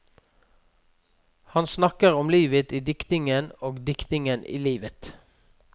Han snakker om livet i diktningen og diktningen i livet.